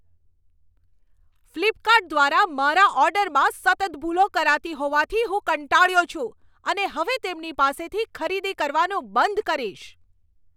Flipkart દ્વારા મારા ઓર્ડરમાં સતત ભૂલો કરાતી હોવાથી હું કંટાળ્યો છું અને હવે તેમની પાસેથી ખરીદી કરવાનું બંધ કરીશ.